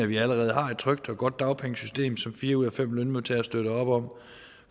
vi allerede har et trygt og godt dagpengesystem som fire ud af fem lønmodtagere støtter op om